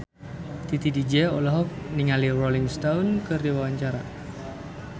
Titi DJ olohok ningali Rolling Stone keur diwawancara